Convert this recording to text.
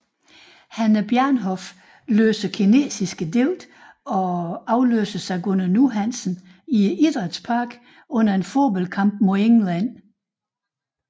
Hannah Bjarnhof læser kinesiske digte og afløses af Gunnar Nu Hansen i Idrætsparken under en fodboldkamp mod England